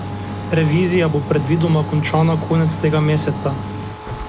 Revizija bo predvidoma končana konec tega meseca.